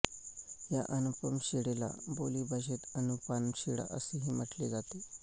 या अनुपम शिळेला बोलीभाषेत अनुपान शिळा असेही म्हटले जाते